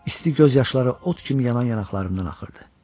İsti göz yaşları od kimi yanan yanaqlarımdan axırdı.